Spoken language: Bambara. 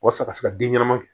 Walasa a ka se ka den ɲɛnama kɛ